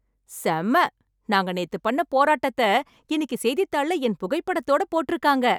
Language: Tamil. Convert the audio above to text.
செம ! நாங்க நேத்து பண்ண போராட்டத்த, இன்னைக்கு செய்தித்தாள்ல என் புகைப்படத்தோடு போட்ருக்காங்க.